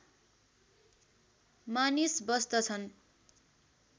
मानिस बस्दछन